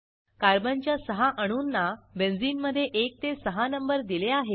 कार्बनच्या सहा अणूंना बेंझिनमधे 1 ते 6 नंबर दिले आहेत